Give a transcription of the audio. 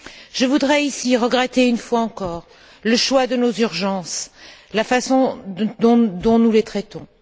Je voudrais ici regretter, une fois encore, le choix de nos urgences et la façon dont nous les traitons.